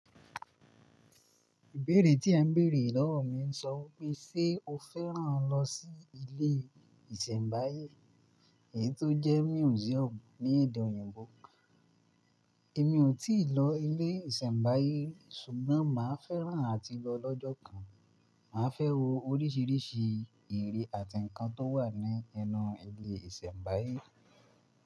Ìbéèrè tí ẹ ń bèèrè lọ́wọ́ mi ń sọ pé, ṣe o fẹ́ràn lọ sí ilé ìṣẹ̀mbáyé, èyí tó jẹ́ museum ní èdè òyìnbó? Èmi ò tíì lọ ilé ìṣẹ̀mbáyé ri, ṣùgbọ́n màá fẹ́ràn láti lọ lọ́jọ́ kan. Màá fẹ́ wo oríṣiríṣi ère àti nǹkan tó wà nínú ilé ìṣẹ̀mbáyé.